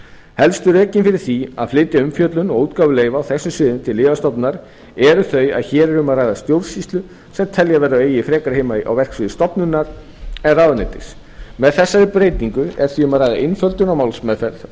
helstu rökin fyrir því að flytja umfjöllun og útgáfu leyfa á þessum sviðum til lyfjastofnunar eru þau að hér er um að ræða stjórnsýslu sem telja verður að eigi frekar heima á verksviði stofnunar en ráðuneytis með þessari breytingu er því um að ræða einföldun á málsmeðferð og